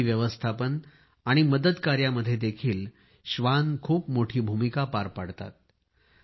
आपत्ती व्यवस्थापन आणि मदत कार्यामध्येही श्वान खूप मोठी भूमिका पार पाडतात